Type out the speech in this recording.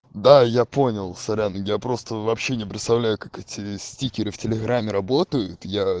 да я понял сорян я просто вообще не представляю как эти стикеры в телеграме работают я